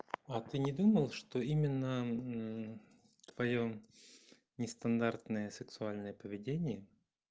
а ты не думал что именно твоё нестандартное сексуальное поведение